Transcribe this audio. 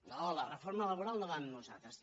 no la reforma laboral no va amb nosaltres